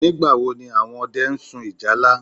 Nígbàwo ni àwọn ọdẹ n sun ìjálá?